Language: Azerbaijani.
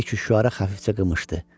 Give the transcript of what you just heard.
Məlik Üşüəra xəfifcə qımışdı.